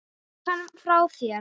Hrökk hann frá þér?